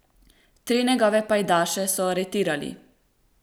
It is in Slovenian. Tri njegove pajdaše so aretirali.